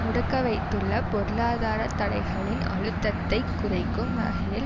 முடக்கவைத்துள்ள பொருளாதார தடைகளின் அழுத்தத்தை குறைக்கும் வகையில்